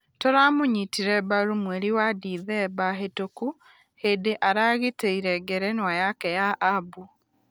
Tũramũnyitire mbaru mweri wa dithemba hĩtũku hĩndĩ aragiteire ngerenwa yake ya abu.